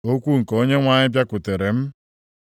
Okwu nke Onyenwe anyị bịakwutere m,